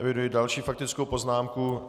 Eviduji další faktickou poznámku.